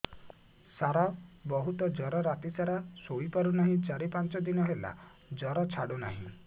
ସାର ବହୁତ ଜର ରାତି ସାରା ଶୋଇପାରୁନି ଚାରି ପାଞ୍ଚ ଦିନ ହେଲା ଜର ଛାଡ଼ୁ ନାହିଁ